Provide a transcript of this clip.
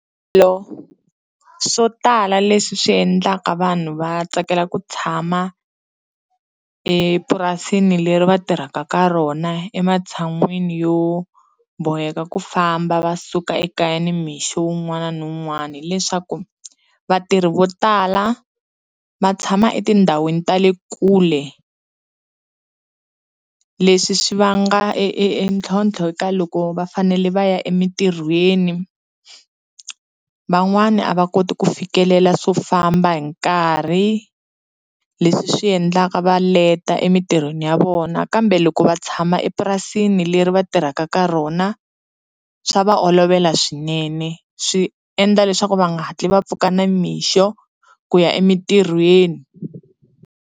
Swilo swo tala leswi swi endlaka vanhu va tsakela ku tshama epurasini leri va tirhaka ka rona ematshan'wini yo boheka ku famba va suka ekaya nimixo wun'wana na wun'wana hileswaku vatirhi vo tala va tshama etindhawini ta le kule leswi swi vanga e e e ntlhontlho eka loko va fanele va ya emitirhweni, van'wani a va koti ku fikelela swo famba hi nkarhi leswi swi endlaka va leta emitirhweni ya vona kambe loko va tshama epurasini leri va tirhaka ka rona swa va olovela swinene swi endla leswaku va nga hatli va pfuka nimixo ku ya emintirhweni.